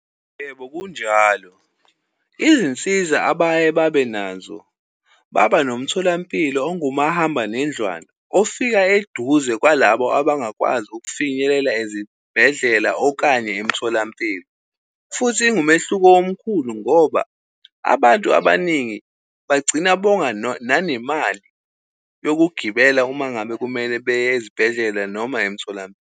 Yebo, kunjalo izinsiza abaye babe nazo, baba nomtholampilo ongumahamba nendlwana, ofika eduze kwalabo abangakwazi ukufinyelela ezibhedlela, okanye emtholampilo. Futhi ingumehluko omkhulu ngoba abantu abaningi bagcina bonga nanemali yokugibela uma ngabe kumele beye ezibhedlela noma .